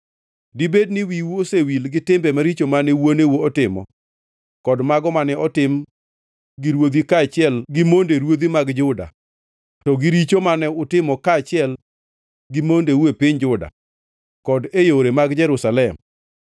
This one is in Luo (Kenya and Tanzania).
Dibed ni wiu osewil gi timbe maricho mane wuoneu otimo kod mago mane otim gi ruodhi kaachiel gi monde ruodhi mag Juda to gi richo mane utimo kaachiel gi mondeu e piny Juda kod e yore mag Jerusalem?